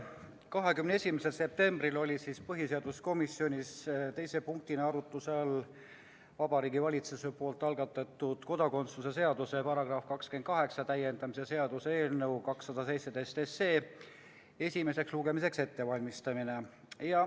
21. septembril oli põhiseaduskomisjonis teise punktina arutluse all Vabariigi Valitsuse algatatud kodakondsuse seaduse § 28 täiendamise seaduse eelnõu 217 esimeseks lugemiseks ettevalmistamine.